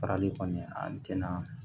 Farali kɔni an tɛna